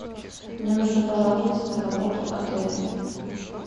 мне нужно пожаловаться на работу отеля